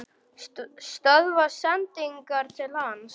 Stöðva sendingar til hans?